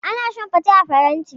Ana shan fate a faranti.